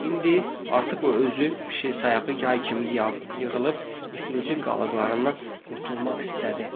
İndi artıq o özü pişik sayağı yay kimi yığılıb iflicin qalıqlarından qurtulmaq istədi.